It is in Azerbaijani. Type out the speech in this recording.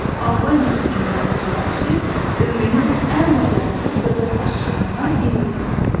Albaniya hökmdarı Cavanşir dövrünün ən bacarıqlı dövlət başçılarından biri idi.